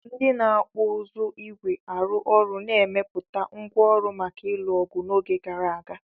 Ndị na-okpu uzu ígwè arụ ọrụ na-emepụta ngwá ọrụ maka ịlụ ọgụ n'oge gara aga.